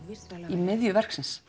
í miðju verksins